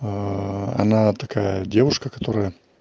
она такая девушка которая